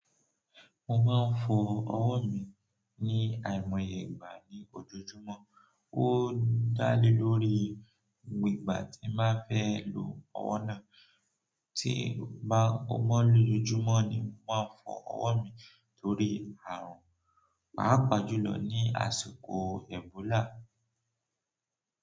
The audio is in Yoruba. Mò máa ń fọ ọwọ́ mi ní àìmọye ìgbà ní òjòòjúmọ́, ó dálé lórí ìgbà tí màá fẹ́ lò ọwọ́ náà. Tì mò bàà n fọ ọwọ lòjòjùmọ ni mò màà n fọ ọwọ mì tòrì ààrùn, pààpàà jùlọ nì àsìkò ẹbòòlà.